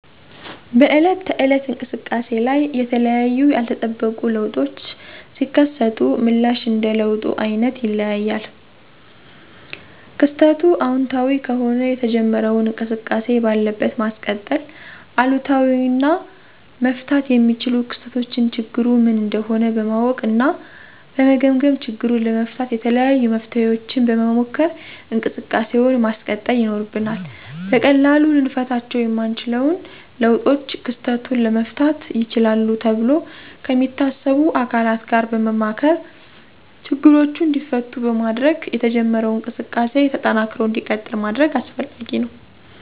በዕለት ተዕለት እንቅሰቃሴ ላይ የተለያዩ ያልተጠበቁ ለውጦች ሲከሰቱ ምላሽ እንደ ለውጡ አይነት ይለያያል። ክስተቱ አወንታዊ ከሆነ የተጀመረውን እንቅስቃሴ ባለበት ማስቀጠል፤ አሉታዊ እና መፈታት የሚችሉ ክስተቶችን ችግሩ ምን እንደሆነ በማወቅ እና በመገምገም ችግሩን ለመፍታት የተለያዩ መፍትሔዎችን በመሞከር እንቅሰቃሴውን ማስቀጠል ይኖርብናል። በቀላሉ ልንፈታቸው የማንችለውን ለውጦች ክስተቱን ለመፍታት ይችላሉ ተብሎ ከሚታሰቡ አካላት ጋር በማማከር ችግሮቹ እንዲፈቱ በማድረግ የተጀመረው እንቅስቃሴ ተጠናክሮ እንዲቀጥል ማስደረግ አስፈላጊ ነው።